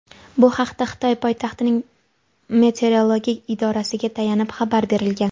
Bu haqda Xitoy poytaxtining meteorologik idorasiga tayanib xabar berilgan.